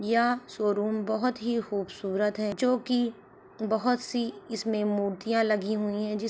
यह शोरूम बोहोत ही खूबसूरत है जो कि बोहोत सी इसमें मूर्तियाँ लगी हुई है। जिस --